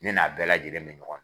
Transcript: Ne n'a bɛɛ lajɛlen me ɲɔgɔn